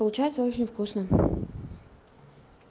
получается очень вкусно